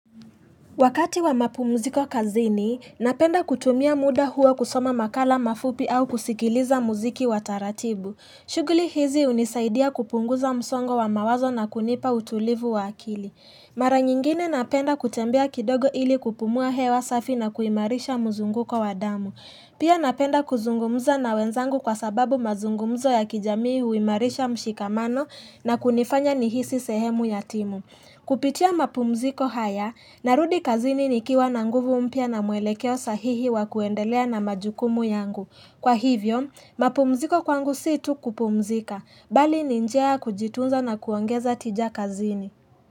Wakati wa mapumziko kazini, napenda kutumia muda huo kusoma makala mafupi au kusikiliza muziki wa taratibu. Shughuli hizi hunisaidia kupunguza msongo wa mawazo na kunipa utulivu wa akili. Mara nyingine napenda kutembea kidogo ili kupumua hewa safi na kuimarisha muzunguko wa damu. Pia napenda kuzungumza na wenzangu kwa sababu mazungumzo ya kijamii huimarisha mshikamano na kunifanya nihisi sehemu yatimu. Kupitia mapumziko haya, narudi kazini nikiwa na nguvu mpya na mwelekeo sahihi wa kuendelea na majukumu yangu. Kwa hivyo, mapumziko kwangu si tu kupumzika, bali ni njia ya kujitunza na kuongeza tija kazini.